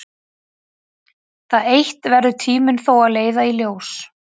Það eitt verður tíminn þó að leiða í ljós.